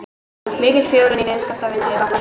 Mikil fjölgun viðskiptavina frá bankahruni